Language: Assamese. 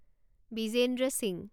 বিজেন্দ্ৰ সিংহ